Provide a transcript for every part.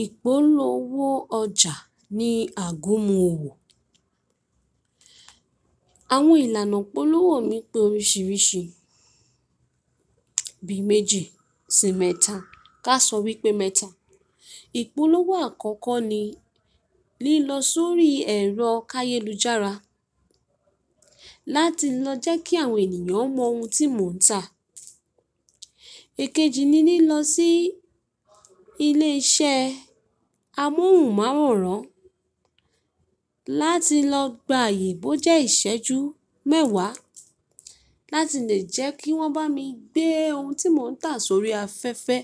Ìpolówó ọjà ni àgúnmu owò. Àwọn ìlànà ìpolówó mi pé oríṣìríṣí, bíi méjì sì mẹ́ta. Ká sọ wípé mẹ́ta. Ìpolówó àkọ́kọ́ ni, lílọ sórí ẹ̀rọ káyélujára láti lọ jẹ́ kí àwọn ènìyàn mọ ohun tí mò ń tà. Èkejì ni lílọ sí ilé iṣẹ́ amóhùnmáwòrán láti lọ gba àyè bó jẹ́ ìṣẹ́ ju mẹ́wàá láti lè jẹ́ kí wọ́n bá mi gbé ohun tí mò ń tà sórí afẹ́fẹ́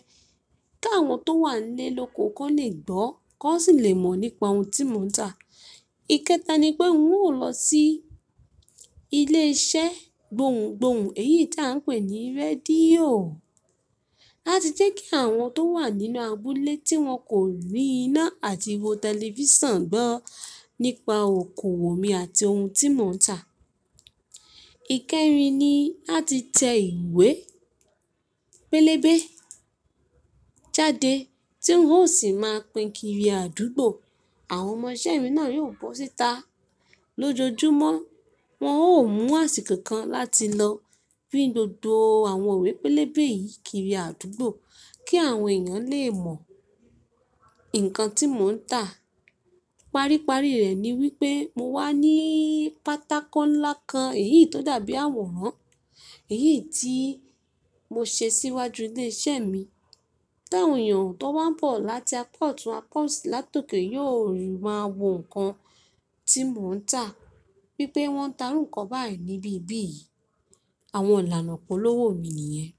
kí àwọn tó wà níle loko kò n lè gbọ́ kó n sì lè mọ̀ nípa ohun tí mò ń tà. Ikẹta ni pé n ó lọ sí ilé iṣẹ́ gbohùn gbohùn èyí ti à ń pè ní rédíò láti jẹ́ kí àwọn tó wà nínú abúlé tí wọ́n kò rí iná àti wo tẹlifíṣàn gbọ́ nípa okoòwò mi àti ohun tí mò ń tà. Ikẹrin ni láti tẹ ìwé pélébé jáde tí ń ó sì máa pín kiri àdúgbò. Àwọn ọmọ isẹ́ mi náà yóò bọ́ síta lójoojúmọ́. Wọn ó mú àsìkò kan láti lọ pín gbogbo àwọn ìwé pélébé yìí kiri àdúgbò kí àwọn èèyàn lè mọ̀ nǹkan tí mò ń tà. Paríparí rẹ̀ ni wípé mo wà ní pátákó ńlá kan èyí tó dàbí àwòrán, èyí tí mo ṣe síwájú ilé isẹ́ mi. Ti awon ẹ̀eyàn tó n bá n bọ̀ láti apa otun apa osi látòkè yóò rí i máa wo nǹkan tí mò ń tà, wí pé wọ́n ń ta iru nǹkan báyìí níbí bí yìí. Àwọn ìlànà ìpolówó mi nìyẹn.